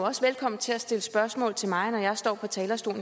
så stille mit spørgsmål